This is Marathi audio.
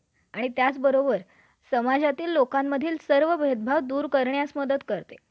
अतिरिक्त हप्ता भरून पुढील विभागाखाखाली आणि किती विभागाखाखाली ही घेतला संरक्षण देता येते.